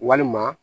Walima